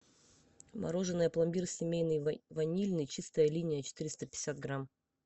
мороженое пломбир семейный ванильный чистая линия четыреста пятьдесят грамм